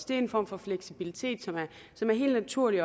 det er en form for fleksibilitet som er helt naturlig